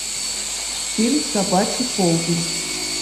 фильм собачий полдень